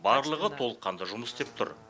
барлығы толыққанды жұмыс істеп тұр